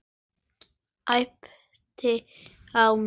Æpti á mig.